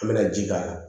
An bɛna ji k'a la